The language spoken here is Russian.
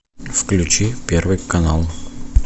включи первый канал